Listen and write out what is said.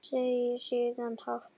Segir síðan hátt